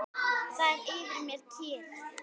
Það er yfir mér kyrrð.